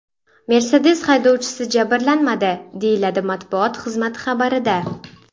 Mercedes haydovchisi jabrlanmadi”, deyiladi matbuot xizmati xabarida.